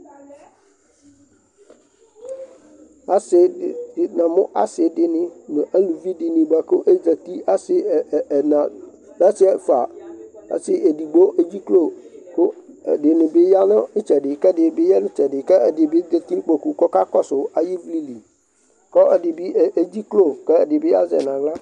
Asɩ dɩ namʋ asɩ dɩnɩ nʋ aluvi dɩnɩ bʋa kʋ azati, asɩ ɛ ɛ ɛna, asɩ ɛfʋa, ɔsɩ edigbo edziklo kʋ ɛdɩnɩ bɩ ya nʋ ɩtsɛdɩ kʋ ɛdɩnɩ bɩ ya nʋ ɩtsɛdɩ kʋ ɛdɩ bɩ zati nʋ kpoku kʋ ɔkakɔsʋ ayʋ ɩvlɩ li kʋ ɛdɩ bɩ edziklo kʋ ɛdɩ bɩ azɛ yɩ nʋ aɣla